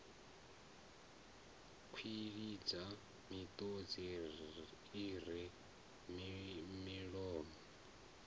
kwilidza miṱodzi i re milomo